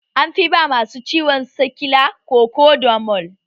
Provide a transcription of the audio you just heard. An fi ba masu ciwon sikila Kokodamol